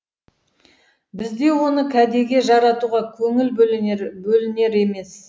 бізде оны кәдеге жаратуға көңіл бөлінер емес